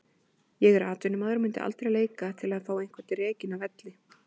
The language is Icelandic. Ég er atvinnumaður og myndi aldrei leika til að fá einhvern rekinn af velli.